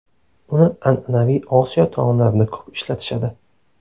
Uni an’anaviy Osiyo taomlarida ko‘p ishlatishadi.